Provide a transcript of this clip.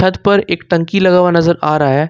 पर एक टंकी लगा हुआ नजर आ रहा है।